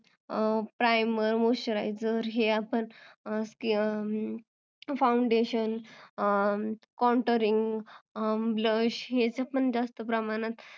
Primer, moisturizer, foundation, contouring, blush, ह्याच पण जास्त प्रमाणत